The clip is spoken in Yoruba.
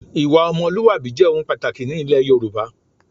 Ìwà ọmọlúwàbí jẹ́ ohun pàtàkì ni ilẹ̀ Yorùbá